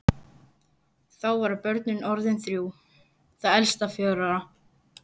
Þá voru börnin orðin þrjú, það elsta fjögurra ára.